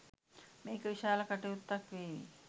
මේක විශාල කටයුත්තක් වේවි